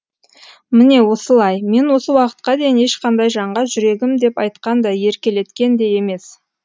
міне осылай мен осы уақытқа дейін ешқандай жанға жүрегім деп айтқан да еркелеткен де емес